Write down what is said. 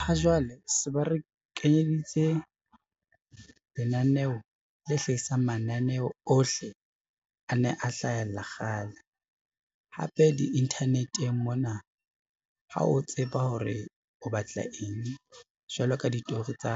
Ha jwale se ba re kenyeditse lenaneo le hlahisang mananeo ohle a ne a hlahella kgale, hape di-internet-eng mona ha o tseba hore o batla eng jwalo ka ditori tsa